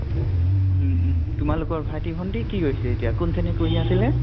উম উম । তোমালোকৰ ভাইতি-ভন্টি কি হৈছে এতিয়া, কোন শ্ৰেণীত পঢ়ি আছিলে ?